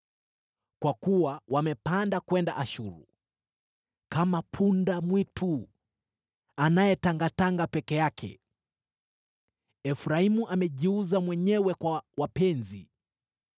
Kwa kuwa wamepanda kwenda Ashuru kama punda-mwitu anayetangatanga peke yake. Efraimu amejiuza mwenyewe kwa wapenzi.